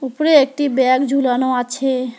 উপরে একটি ব্যাগ ঝুলানো আছে।